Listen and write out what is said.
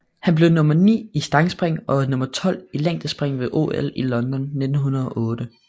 Han blev nummer 9 i stangspring og nummer 12 i længdespring ved OL i London 1908